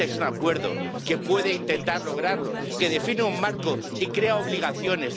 Este es un acuerdo que puede intentar lograrlo, que define un marco y crea obligaciones.